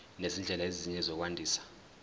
nezindlela ezinye zokwandisa